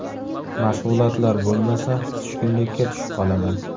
Mashg‘ulotlar bo‘lmasa, tushkunlikka tushib qolaman.